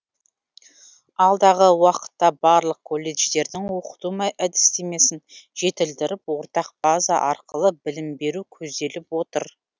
алдағы уақытта барлық колледждердің оқыту әдістемесін жетілдіріп ортақ база арқылы білім беру көзделіп отыр